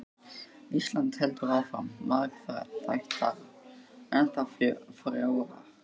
Íslands heldur áfram, margþættara, ennþá frjórra.